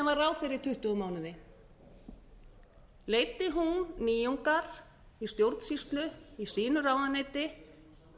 var ráðherra í tuttugu mánuði leiddi hún nýjungar í stjórnsýslu í sínu ráðuneyti